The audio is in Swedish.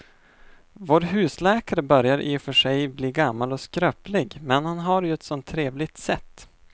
Vår husläkare börjar i och för sig bli gammal och skröplig, men han har ju ett sådant trevligt sätt!